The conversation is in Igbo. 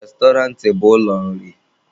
Restọrantị bụ ụlọ nri.